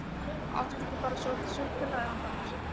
Áttu ekki bara svolítið súkkulaði handa mér?